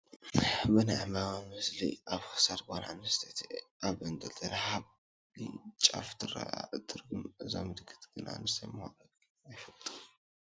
ብናይ ዕምበባ ምስሊ ኣብ ክሳድ ጓል ኣነስተይቲ ኣብ ተንጠልጠለ ሃብሊ ጫፍ ትርአ ኣላ፡፡ ትርጉሙ እዛ ምልክት ግን እንታይ ምዃኑ ግና ገና ኣይፈለጥኩን፡፡